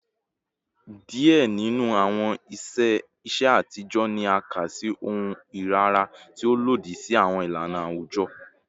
Diẹ ninu awọn iṣe atijọ ni a ka si ohun irira, ti o lodi si awọn ilana awujọ